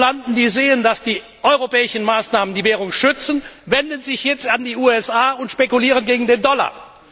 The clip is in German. Die Spekulanten sehen, dass die europäischen Maßnahmen die Währung schützen, sie wenden sich jetzt an die USA und spekulieren gegen den Dollar.